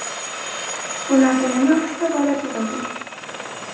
Ularda yana uchta bola tug‘ildi.